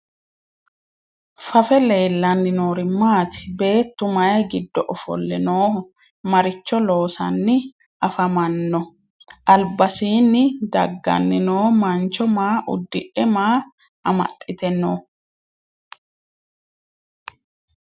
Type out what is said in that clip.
Fafe leelanni noori maatti? Beettu mayi giddo offolle nooho? Maricho loosanni affammanno? Alibbasiinni daganni noo mancho maa udidhe maa amaxiitte noo?